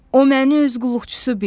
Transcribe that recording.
O məni öz qulluqçusu bildi.